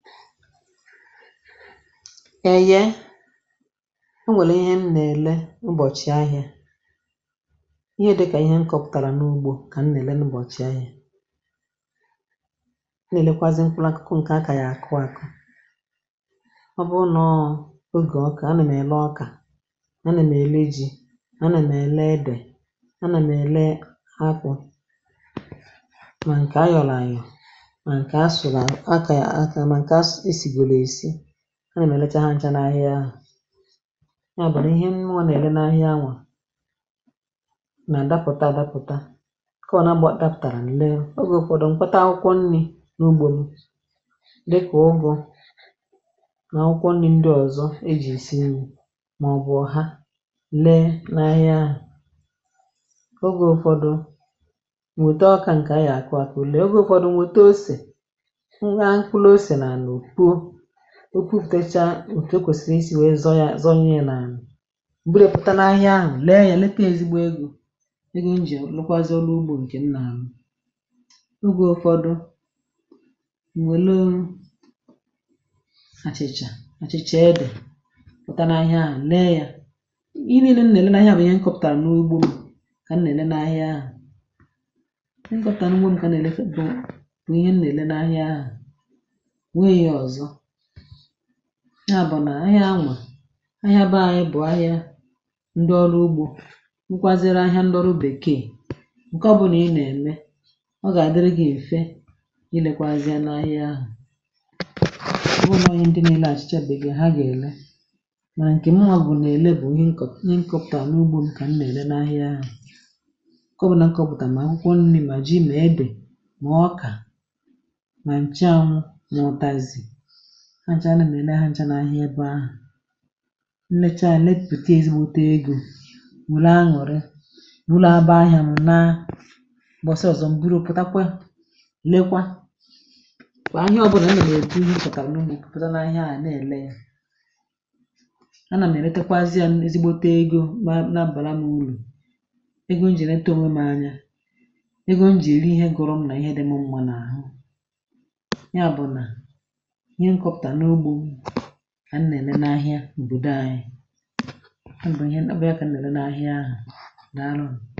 Eye o nwèlè ihe m nà-èle ubọ̀chì ahịȧ, ihe dị̇kà ihe m kọpụ̀tàrà n’ugbȯ kà m nà-èle n’ubọ̀chì ahịȧ, o nà-èlekwazị mkpụrụ akụkụ ǹkè a kà yà àkụ akụ̇, ọ bụru nà ọ̀ ogè ọkà, a nà m èle ọkà, a nà m̀ èle e ji̇, a nà m èle edè, a nà m̀ èle akwụ̇, ma nke ayọlọ ayo, ma nke asụlụ akaya akama ma nkè esi gọrọ esi ana m elecha ha ncha n’ahịa ahụ̀, ya bu na ihe muwa nà èle n’ahịa nwà, nà-àdapụta àdapụta, ǹkẹ̀ ọbula a dapụtàrà n’lee oge ụfọdụ m̀kpata akwụkwọ nri̇ n’ugbȯ mu dịka ụgụ̇ nà akwụkwọ nri̇ ndị ọ̀zọ e ji̇ si nri màọbụ̀ ọ̀ha lee n’ahịa ahụ̀, ogė ụfọdụ̇ m̀wète ọkà ǹkè aya akụ akụ lee oge ụfọdụ̇ m̀wète ose, m haa mkpụrụ ose n'ala opuo, opuputecha òtù okwesiri isi we zọọ ya zọọ mi ya n'ala, m bụrụ yá pụta n’ahịa ahụ̀ lee ya leta ya ezigbo ego, ego m ji alukwȧzị̇ ọlụ ugbo ǹkè m nà àlụ, ógè ụfọdụ m̀ nwèlu, achịchà àchịchà edè pụta n’ahịa ahụ̀ lee ya, ihe niile m na èle na ȧhià ahụ̀ bụ̀ ihe nkọpụ̀tàra n’ugbȯ m kà m nà-èle na ahịa ahụ̀, ihe nkọpụ̀tàra n’ugbȯ m kà nà-èle fetu bụ̀ ihe m nà-èle naahịa ahụ̀ enweghị ihe ọzọ, ha bu nà ahịa hu ahịa beanyị bụ̀ ahịa ndị ọrụ ugbȯ bukwaziri ahịa ndị ọrụ bèkee ǹke ọ bụ̀ nà ị nà ẹ̀mẹ ọ gà àdịrị gị̀ mfẹ ilẹkwazịa n’ahịa ahụ̀, ọbu noo ihe ndị na èle achịcha bekee ha gà èle, mànà ǹkẹ̀ muwȧ nà èle bụ̀ ihe nko ihe nkọ̇pụ̀tàra n’ugbȯ m kà m nà ẹ̀lẹ n’ahịa ahụ̀, nke ọbụna nkọ̇pụ̀tà mà mkpụrụ nri mà jị ma edè mà ọkà, ma nchu anwụ ma utazi ha ncha anà m èle ha ncha n’ahịa ebe ahụ̀, nlecha ya nlepute ezigbote egȯ wère añụ̀rị bụrụ abàa ahịa m laa, m̀bọsi ọ̀zọ m̀buru putakwa leekwa, kwà ahịa ọbụnà m nà m èle pụ̀ta kà m nụmụ pụ̀ta n’ahịa à àna ele ya, anà m èletakwazie ya ezigbote egȯ na bàra m urù, egȯ m jì èleta ònwè m anya, egȯ m jì èli ihe gùrù m nà ihe dị m mma n’àhụ, ya bụ̀ nà ìhè m kọputara n'ugbo m kà m na èle na ȧhià obodo anyi, ọbu ihe ọbu yá kà m na èle na ȧhià ahụ, daalụ ńu.